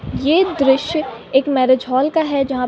ये दृश्य एक मैंरिज हॉल का है जहाँ --